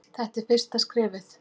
Þetta er fyrsta skrefið.